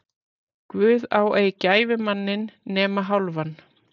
Guð á ei gæfumanninn nema hálfan.